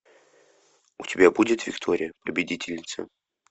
у тебя будет виктория победительница